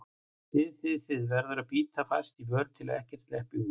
þið þið, þið- verður að bíta fast á vör til að ekkert sleppi út.